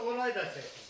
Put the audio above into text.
Orayı da çək.